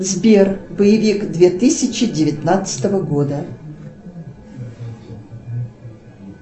сбер боевик две тысячи девятнадцатого года